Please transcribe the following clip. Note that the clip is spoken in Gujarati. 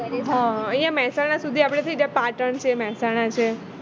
હ અહીંયા મેહસાણા સુધી થઈ જાય આપણે પાટણ છે મેહસાણા છે